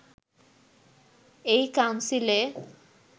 এই কাউন্সিলে